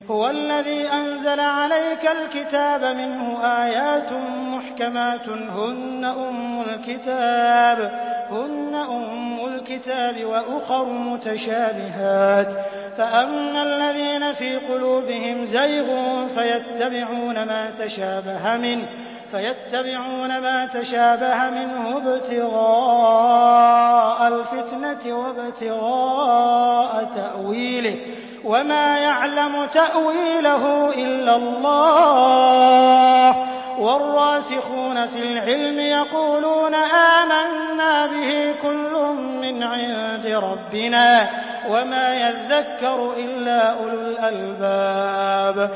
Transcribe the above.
هُوَ الَّذِي أَنزَلَ عَلَيْكَ الْكِتَابَ مِنْهُ آيَاتٌ مُّحْكَمَاتٌ هُنَّ أُمُّ الْكِتَابِ وَأُخَرُ مُتَشَابِهَاتٌ ۖ فَأَمَّا الَّذِينَ فِي قُلُوبِهِمْ زَيْغٌ فَيَتَّبِعُونَ مَا تَشَابَهَ مِنْهُ ابْتِغَاءَ الْفِتْنَةِ وَابْتِغَاءَ تَأْوِيلِهِ ۗ وَمَا يَعْلَمُ تَأْوِيلَهُ إِلَّا اللَّهُ ۗ وَالرَّاسِخُونَ فِي الْعِلْمِ يَقُولُونَ آمَنَّا بِهِ كُلٌّ مِّنْ عِندِ رَبِّنَا ۗ وَمَا يَذَّكَّرُ إِلَّا أُولُو الْأَلْبَابِ